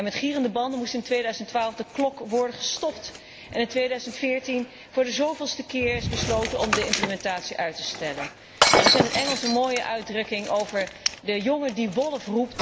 En met gierende banden moest in 2012 de klok worden gestopt en is in 2014 voor de zoveelste keer besloten om de implementatie uit te stellen. Er is in het Engels een mooie uitdrukking over de jongen die wolf!